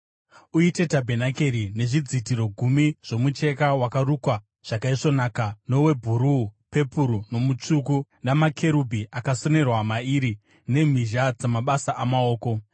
“Uite tabhenakeri nezvidzitiro gumi zvomucheka wakarukwa zvakaisvonaka, nowebhuruu, pepuru nomutsvuku, namakerubhi akasonerwa mairi nemhizha dzamabasa amaoko.